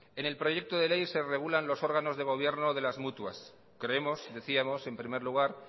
en el proyecto de ley se regulan los órganos de gobierno de las mutuas creemos decíamos en primer lugar